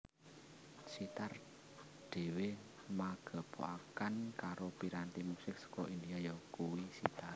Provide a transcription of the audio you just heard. Sihtar dhéwé magepokan karo piranti musik saka India yakuwi sitar